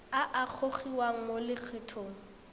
a a gogiwang mo lokgethong